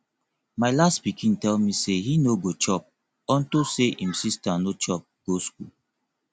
my last pikin tell me say he no go chop unto say im sister no chop go school